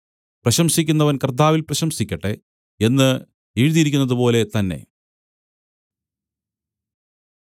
പ്രശംസിക്കുന്നവൻ കർത്താവിൽ പ്രശംസിക്കട്ടെ എന്ന് എഴുതിയിരിക്കുന്നതുപോലെ തന്നെ